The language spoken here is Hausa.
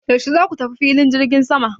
Yaushe za ku tafi filin jirgin sama?